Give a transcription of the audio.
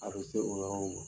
A be se o yɔrɔ ma.